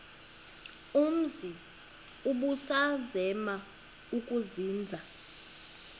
umzi ubusazema ukuzinza